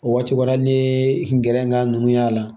O waati ni gɛrɛ ŋ'a nunnu y'a la